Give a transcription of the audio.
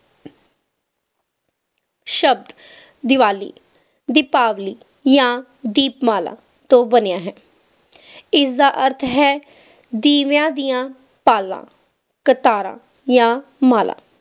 ਸ਼ਬਦ ਦੀਵਾਲੀ ਦੀਪਾਵਲੀ ਜਾ ਦੀਪਮਾਲਾ ਤੋਂ ਬਣਿਆ ਹੈ ਇਸ ਦਾ ਅਰਥ ਹੈ ਦੀਵੇਆਂ ਦੀ ਪਾਲਾਂ ਕਤਾਰਾਂ ਜਾ ਮਾਲਾਂ